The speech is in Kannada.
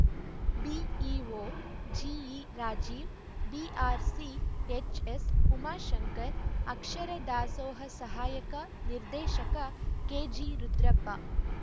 ಬಿಇಒ ಜಿಈರಾಜೀವ್‌ ಬಿಆರ್‌ಸಿಎಚ್‌ಎಸ್‌ಉಮಾಶಂಕರ್‌ ಅಕ್ಷರ ದಾಸೋಹ ಸಹಾಯಕ ನಿರ್ದೇಶಕ ಕೆಜಿರುದ್ರಪ್ಪ